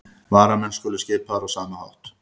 Varamenn skulu skipaðir á sama hátt